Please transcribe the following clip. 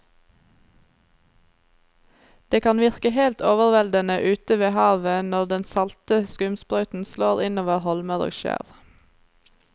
Det kan virke helt overveldende ute ved havet når den salte skumsprøyten slår innover holmer og skjær.